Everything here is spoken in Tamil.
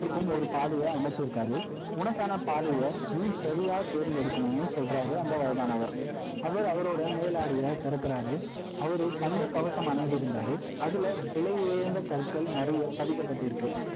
அவருக்குன்னு ஒரு பாதைய அமைச்சிருக்காரு உனக்கான பாதைய நீ சரியா தெர்ந்தெடுக்கணும்னு சொல்றாரு அந்த வயதானவர் அவர் அவருடைய மேலாடையை திறக்கிறாரு அவரு தங்க கவசம் அணிந்திருந்தாரு அதுல விலை உயர்ந்த கற்கள் நிறைய பதிக்கப்பட்டிருக்கு